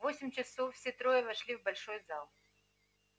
в восемь часов все трое вошли в большой зал